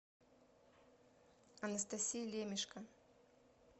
анастасии лемешко